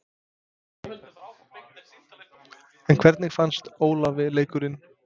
En hvernig fannst Ólafi leikurinn?